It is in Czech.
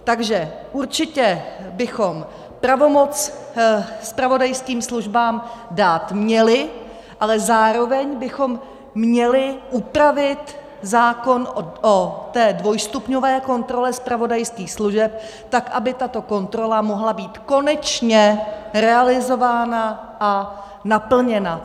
Takže určitě bychom pravomoc zpravodajským službám dát měli, ale zároveň bychom měli upravit zákon o té dvojstupňové kontrole zpravodajských služeb tak, aby tato kontrola mohla být konečně realizována a naplněna.